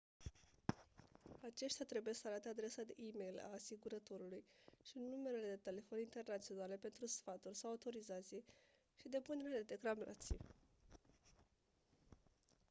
aceștia trebuie să arate adresa de e-mail a asigurătorului și numerele de telefon internaționale pentru sfaturi/autorizații și depunerea de reclamații